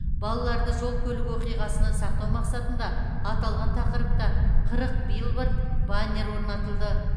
балаларды жол көлік оқиғасынан сақтау мақсатында аталған тақырыпта қырық билборд баннер орнатылды